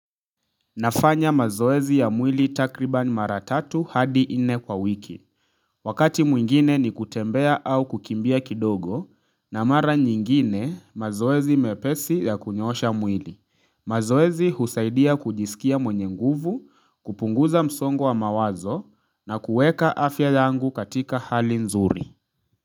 Nafanya mazoezi ya mwili takribani mara tatu hadi nne kwa wiki. Wakati mwingine ni kutembea au kukimbia kidogo na mara nyingine mazoezi mepesi ya kunyoosha mwili. Mazoezi husaidia kujisikia mwenye nguvu, kupunguza msongwa wa mawazo na kuweka afya yangu katika hali nzuri.